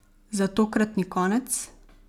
Za tokratni konec?